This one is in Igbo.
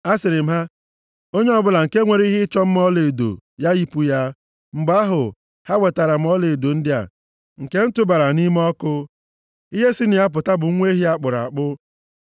Asịrị m ha, ‘Onye ọbụla nke nwere ihe ịchọ ọma ọlaedo, ya yipu ya.’ Mgbe ahụ, ha wetara m ọlaedo ndị a, nke m tụbara nʼime ọkụ. Ihe si na ya pụta bụ nwa ehi a kpụrụ akpụ!”